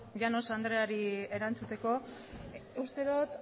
llanos andreari erantzuteko uste dut